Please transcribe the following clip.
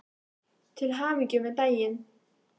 Til hamingju með daginn.